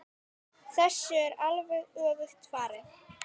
Þessu er alveg öfugt farið.